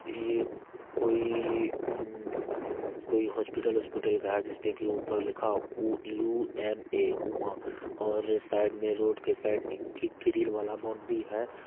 ये कोई उम कोई हॉस्पिटल वोस्पिटल का है जिस पे की ऊपर लिखा है उ यू.एम.ऐ उमा और साइड मैं रोड के साइड एक ग्री ग्रील वाला बाउंड्री है।